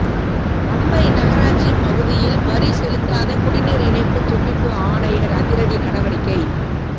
அம்பை நகராட்சி பகுதியில் வரி செலுத்தாத குடிநீர் இணைப்பு துண்டிப்பு ஆணையர் அதிரடி நடவடிக்கை